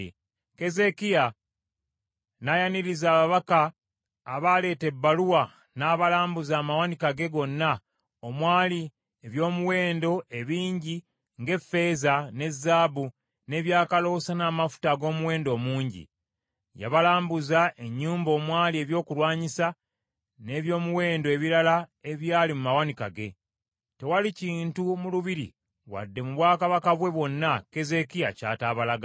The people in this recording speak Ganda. Keezeekiya n’ayaniriza ababaka abaleeta ebbaluwa, n’abalambuza amawanika ge gonna omwali eby’omuwendo ebingi ng’effeeza, ne zaabu, n’ebyakaloosa n’amafuta ag’omuwendo omungi. Yabalambuza ennyumba omwali ebyokulwanyisa, n’eby’omuwendo ebirala ebyali mu mawanika ge. Tewali kintu mu lubiri wadde mu bwakabaka bwe bwonna Keezeekiya ky’ataabalaga.